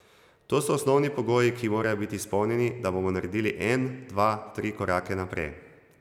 To so osnovni pogoji, ki morajo biti izpolnjeni, da bomo naredili en, dva, tri korake naprej.